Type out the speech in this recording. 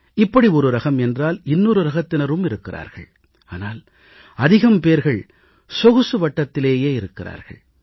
இப்படி ஒரு ரகம் என்றால் இன்னொரு ரகத்தினரும் இருக்கிறார்கள் ஆனால் அதிகம் பேர்கள் சொகுசு வட்டத்திலேயே இருக்கிறார்கள்